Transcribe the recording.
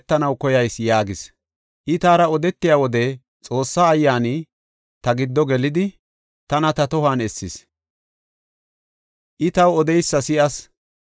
I taara odetiya wode Xoossa Ayyaani ta giddo gelidi, tana ta tohuwan essis; I taw odeysa si7as.